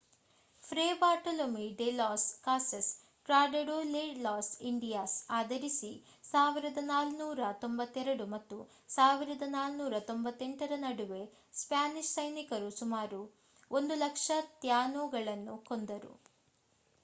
free Bartolome de Las Casas Tratado de las Indias ಆಧರಿಸಿ 1492 ಮತ್ತು 1498 ರ ನಡುವೆ ಸ್ಪ್ಯಾನಿಷ್ ಸೈನಿಕರು ಸುಮಾರು 100,000 ಥ್ಯಾನೊಗಳನ್ನು ಕೊಂದರು